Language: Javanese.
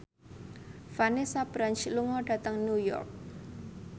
Vanessa Branch lunga dhateng New York